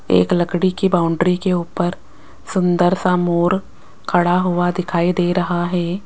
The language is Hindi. एक लकड़ी की बाउंड्री के ऊपर सुंदर सा मोर खड़ा हुआ दिखाई दे रहा है।